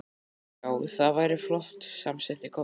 Já, það væri flott, samsinnti Kobbi.